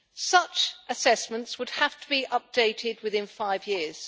Such assessments would have to be updated within five years.